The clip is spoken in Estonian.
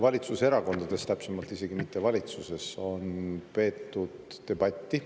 Valitsuses, täpsemalt isegi mitte valitsuses, vaid valitsuserakondades on peetud debatti.